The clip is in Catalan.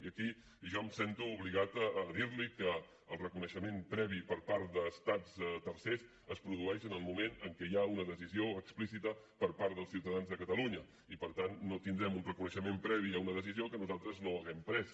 i aquí jo em sento obligat a dir li que el reconeixement previ per part d’estats tercers es produeix en el moment en què hi ha una decisió explícita per part dels ciutadans de catalunya i per tant no tindrem un reconeixement previ a una decisió que nosaltres no hàgim pres